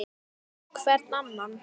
Hvern annan!